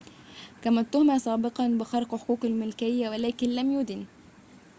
كما اُتهم سابقًا بخرق حقوق الملكية ولكن لم يُدن